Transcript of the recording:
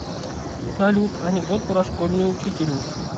салют анекдот про школьную учительницу